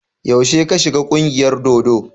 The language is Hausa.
Yaushe ka shiga ƙungiyar dodo?